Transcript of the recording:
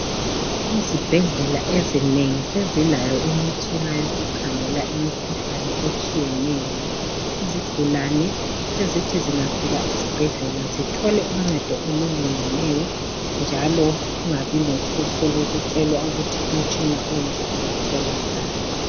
Izibhedlela ezinengi sezilayo imitshina yoku khangela imkhuhlane etshiyeneyo. Izigulane sezithi zingafika esibhedlela zithole uncedo olulingeneyo njalo kungabi lohlupho lokutshelwa ukuthi umtshina onje awutholakali